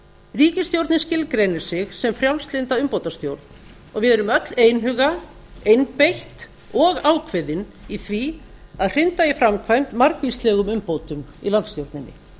ríkisstjórnin skilgreinir sig sem frjálslynda umbótastjórn og við erum öll einhuga einbeitt og ákveðin í því að hrinda í framkvæmd margvíslegum umbótum í landsstjórninni